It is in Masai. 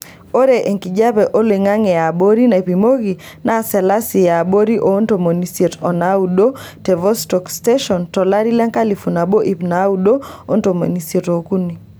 Ore enkijiepe oloing'ang'e e abori naipimoki naa selasi yaabori oontomoni isiet o naado te Vostok Station tolari lenkalifu nabo iip naaudo ontomisiet ookuni.